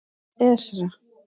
Esra